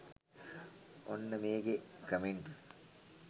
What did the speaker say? ඔන්න මේකෙ කමෙන්ට්ස්